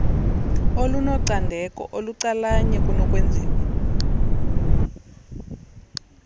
olunocandeko olucalanye kunokwenziwa